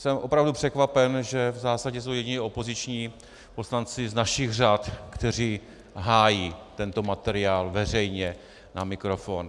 Jsem opravdu překvapen, že v zásadě jsou jediní opoziční poslanci z našich řad, kteří hájí tento materiál veřejně na mikrofon.